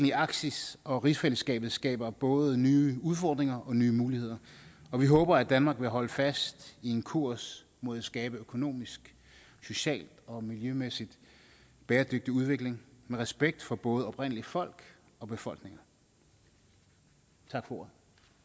i arktis og rigsfællesskabet skaber både nye udfordringer og nye muligheder og vi håber at danmark vil holde fast i en kurs mod at skabe økonomisk social og miljømæssigt bæredygtig udvikling med respekt for både oprindeligt folk og befolkninger tak for ordet